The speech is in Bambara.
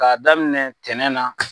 K'a daminɛ tɛnɛ na.